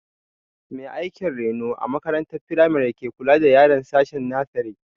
Mai aikin reno a makarantar firamari ke kula da yaran sashen nasere